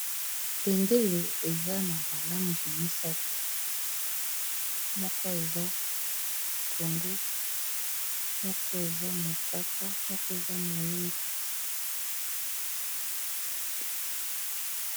Bendele eza na ba lange misato moko eza pondu, moko eza mosaka, moko eza moyindo.